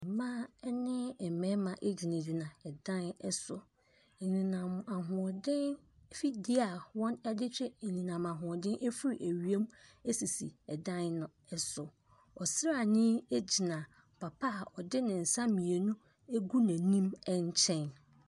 Mmaa ne mmarima gyinagyina ɛdan so. Anyinam ahoɔden afidie a wɔde twe anyinam ahoɔden firi wiem sisi ɛdan no so. Ɔsraani gyina papa a ɔde ne nsa mmienu agu n'anim nkyɛn.